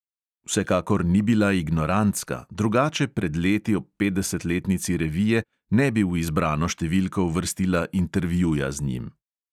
Vsekakor ni bila ignorantska, drugače pred leti ob petdesetletnici revije ne bi v izbrano številko uvrstila intervjuja z njim.